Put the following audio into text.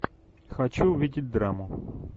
хочу увидеть драму